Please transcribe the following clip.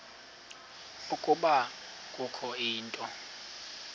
ukuba kukho into